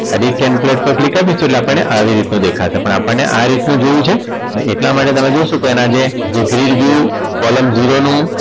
edit template પર click આપીશું એટલે આપણને આવી રીતના દેખાશે પણ આપણને આ રીતનું જોવું છે ને એટલા માટે તમે જોશો તો એના જે